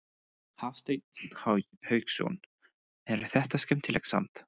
Hafsteinn Hauksson: En er þetta skemmtilegt samt?